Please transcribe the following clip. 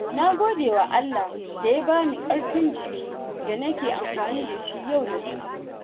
Na gode wa Allah da ya bani ƙarfin jiki da nake amfani da shi yau da kullum.